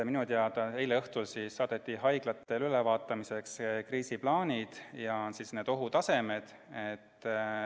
Minu teada saadeti eile õhtul haiglatele ülevaatamiseks kriisiplaanid ja ohutasemed.